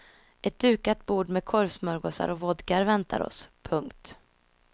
Ett dukat bord med korvsmörgåsar och vodka väntar oss. punkt